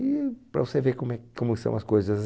E para você ver como é, como são as coisas.